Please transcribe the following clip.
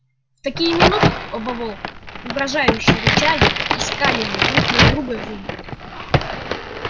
в такие минуты оба волка угрожающе рычали и скалили друг на друга зубы